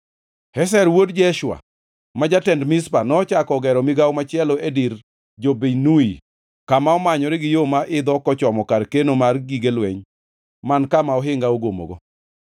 Ezer wuod Jeshua, ma jatend Mizpa, nochako ogero migawo machielo e dir jo-Binnui kama omanyore gi yo ma idho kochomo kar keno mar gige lweny man kama ohinga ogomogo.